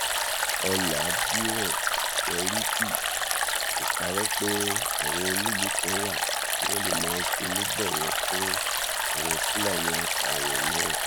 ọlàdíràn sẹríkì ò parọ pé àwọn onílùú kan wà tí wọn lè máa ṣonígbọwọ fún àwọn fúlàní apààyàn náà